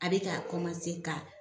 A be ka ka